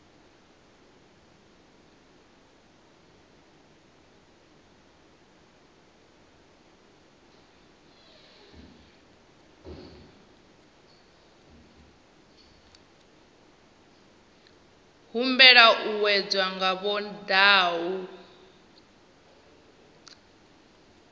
humbela u wedzwa nga vhondau